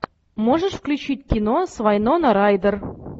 можешь включить кино с вайнона райдер